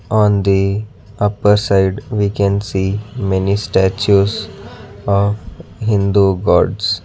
On the upper side we can see many statues uh hindu gods.